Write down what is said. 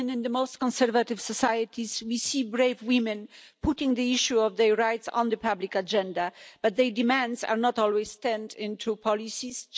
Even in the most conservative societies, we see brave women putting the issue of their rights on the public agenda, but their demands are not always turned into policies